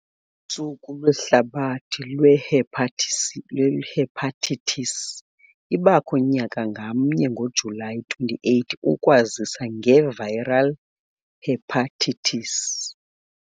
Usuku Lwehlabathi Lwehepatitis ibakho nyaka ngamnye ngoJulayi 28 ukwazisa ngeviral hepatitis.